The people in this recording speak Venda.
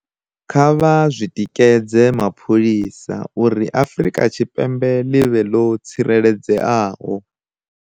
Kha vha tikedze mapholisa uri Afrika Tshipembe ḽi vhe ḽo tsireledzeaho